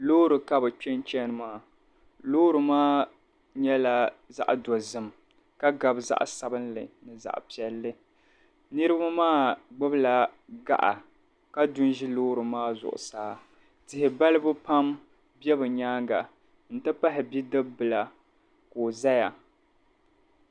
Loori ka bɛ kpe n-chani maa loori maa nyɛla zaɣ'dɔzim ka gabi zaɣ'sabinli ni zaɣ'piɛlli niriba maa gbubila gaɣa ka du n-ʒi loori maa zuɣusaa tihi balibu pam be bɛ nyaaŋa nti pahi bidib'bila ka o zaya